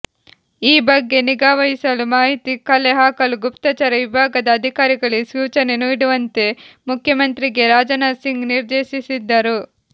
ಈ ಬಗ್ಗೆ ನಿಗಾವಹಿಸಲು ಮಾಹಿತಿ ಕಲೆ ಹಾಕಲು ಗುಪ್ತಚರ ವಿಭಾಗದ ಅಧಿಕಾರಿಗಳಿಗೆ ಸೂಚನೆ ನೀಡುವಂತೆ ಮುಖ್ಯಮಂತ್ರಿಗೆ ರಾಜನಾಥ್ ಸಿಂಗ್ ನಿರ್ದೇಶಿಸಿದ್ದರು